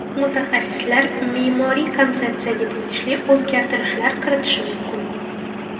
Mutaxassislar me’moriy konsepsiyaga tegishli o‘zgartirishlar kiritish mumkin.